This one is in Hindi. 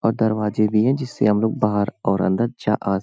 और दरवाजे भी हैं जिससे हम लोग बाहर और अंदर जा आ --